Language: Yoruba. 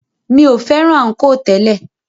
Mi o fẹ́ràn ànkò tẹ́lẹ̀.